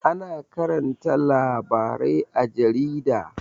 Ana karanta labarai a jarida